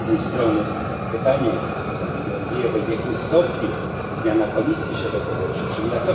I z jednej strony pytanie do pani Georgievej w jakim stopniu zmiana Komisji się do tego przyczyniła?